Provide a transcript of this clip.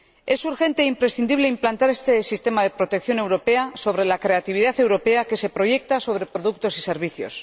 Es urgente e imprescindible implantar este sistema de protección europea sobre la creatividad europea que se proyecta sobre productos y servicios.